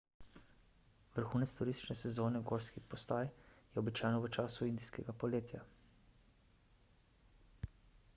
vrhunec turistične sezone gorskih postaj je običajno v času indijskega poletja